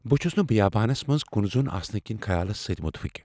بہٕ چھس نہٕ بیابانس منٛز کٗنٖیہ زوٚن آسنہٕ کس خیالس سۭتہِ متعفق۔